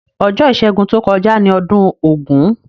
Ojó ìsẹ́gun to kojá ni odún ògún